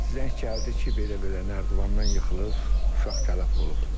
Zəng gəldi ki, belə-belə nərdivandan yıxılıb, uşaq tələf olub.